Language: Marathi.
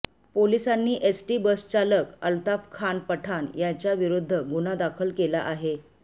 पोलिसांनी एसटी बसचालक अल्ताफखान पठाण याच्या विरुध्द गुन्हा दाखल केला आहे